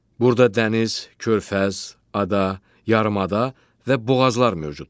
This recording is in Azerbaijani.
Burda dəniz, körfəz, ada, yarımada və boğazlar mövcuddur.